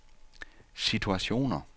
situationer